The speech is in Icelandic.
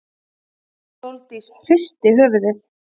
Sóldís hristi höfuðið.